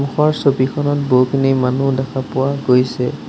ওপৰৰ ছবিখনত বহুখিনি মানুহ দেখা পোৱা গৈছে।